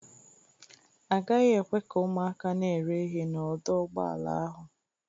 A gaghị ekwe ka ụmụaka na-ere ihe n'ọdọ ụgbọala ahụ.